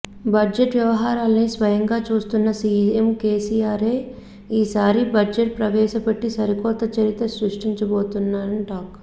budget వ్యవహారాలన్ని స్వయంగా చూస్తున్న సీఎం కేసీఆరే ఈ సారి బడ్జెట్ ప్రవేశపెట్టి సరికొత్త చరిత్ర సృష్టించోబోతున్నట్లు టాక్